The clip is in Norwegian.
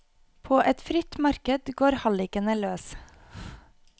På et fritt marked går hallikene løs.